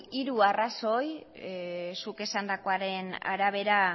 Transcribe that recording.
hiru arrazoi zuk esandakoaren arabera